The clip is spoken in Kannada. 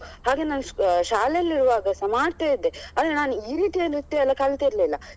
ಹಾಗೆ ನಾನು ಶಾಲೆಲ್ಲಿರುವಾಗ ಸ ಮಾಡ್ತಾ ಇದ್ದೆ ಅಲ್ಲಾ ನಾನ್ ಈ ರೀತಿಯ ನೃತ್ಯ ಎಲ್ಲ ಕಲ್ತಿರ್ಲಿಲ್ಲ.